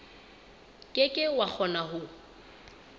ke ke wa kgona ho